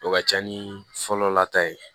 O ka ca ni fɔlɔlata ye